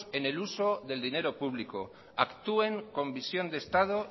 en el uso del dinero público actúen con visión de estado